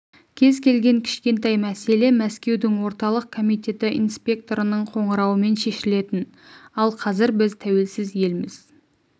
кез келген кішкентай мәселе мәскеудің орталық комитеті инспекторының қоңырауымен шешілетін ал қазір біз тәуелсіз елміз